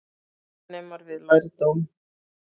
Laganemar við lærdóm